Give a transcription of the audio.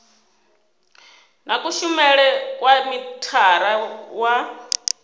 na kushumele kwa mithara wa